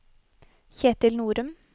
Ketil Norum